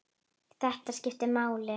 Þetta skiptir máli.